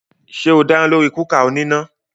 Ṣé o dáná lórí kúkà oníná?